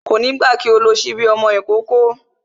Kò ní gbà kí o lo sípí ọmọ ìkókó